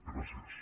gràcies